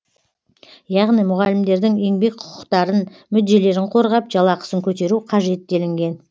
яғни мұғалімдердің еңбек құқықтарын мүдделерін қорғап жалақысын көтеру қажет делінген